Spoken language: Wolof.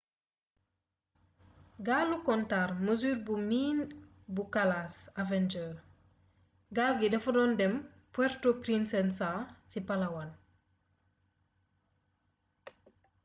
gaalu kontar mesure bu miin bu kalaas avenger gaal gi dafa doon dem puerto princesa ci palawan